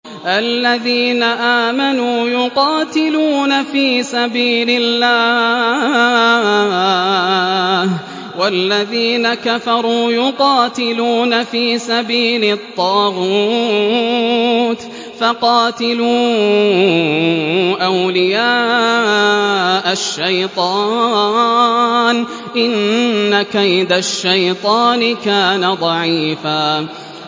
الَّذِينَ آمَنُوا يُقَاتِلُونَ فِي سَبِيلِ اللَّهِ ۖ وَالَّذِينَ كَفَرُوا يُقَاتِلُونَ فِي سَبِيلِ الطَّاغُوتِ فَقَاتِلُوا أَوْلِيَاءَ الشَّيْطَانِ ۖ إِنَّ كَيْدَ الشَّيْطَانِ كَانَ ضَعِيفًا